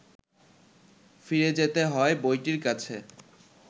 ফিরে যেতে হয় বইটির কাছে